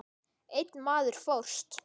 Einn maður fórst.